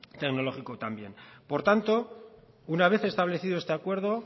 tecnológico también por tanto una vez establecido este acuerdo